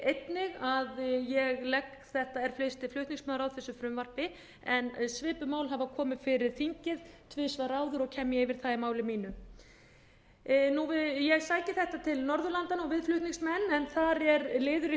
einnig að ég legg þetta er fyrsti flutningsmaður á þessu frumvarpi en svipuð mál hafa komið fyrir þingið tvisvar áður og kem ég yfir það í máli mínu ég sæki þetta til norðurlandanna við flutningsmenn en þar er liður í